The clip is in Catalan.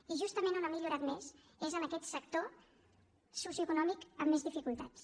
i justament on ha millorat més és en aquest sector socioeconòmic amb més dificultats